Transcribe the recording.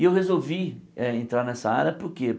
E eu resolvi eh entrar nessa área por quê?